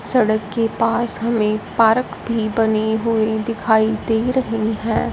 सड़क के पास हमें पार्क भी बनी हुई दिखाई दे रही है।